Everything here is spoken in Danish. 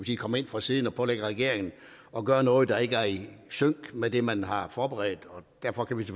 sige kommer ind fra siden og pålægger regeringen at gøre noget der ikke er i sync med det man har forberedt derfor kan vi